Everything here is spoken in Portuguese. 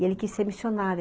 E ele quis ser missionário.